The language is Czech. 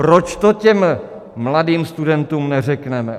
Proč to těm mladým studentům neřekneme?